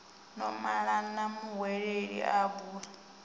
no malana muhweleli a bula